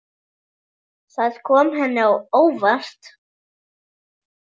Það kom henni á óvart.